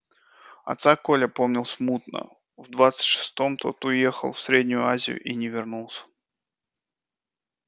отца коля помнил смутно в двадцать шестом тот уехал в среднюю азию и не вернулся